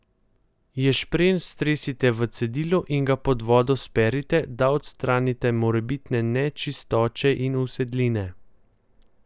Ješprenj stresite v cedilo in ga pod vodo sperite, da odstranite morebitne nečistoče in usedline.